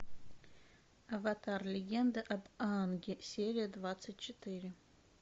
аватар легенда об аанге серия двадцать четыре